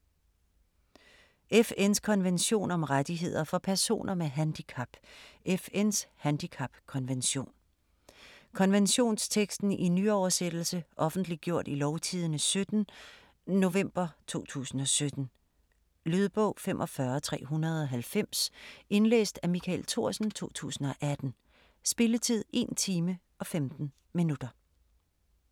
FN’s konvention om rettigheder for personer med handicap: FN's handicapkonvention Konventionsteksten i nyoversættelse. Offentliggjort i Lovtidende 17. nov. 2017. Lydbog 45390 Indlæst af Michael Thorsen, 2018. Spilletid: 1 time, 15 minutter.